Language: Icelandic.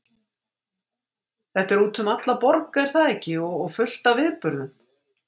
Þetta er út um alla borg er það ekki og fullt af viðburðum?